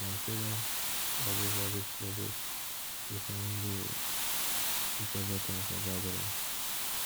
i dey consider everybody schedule to find a suitable time for gatherings